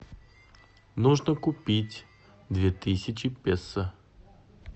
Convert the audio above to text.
нужно купить две тысячи песо